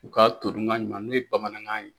U ka todunkan ɲuman n'o ye bamanankan ye.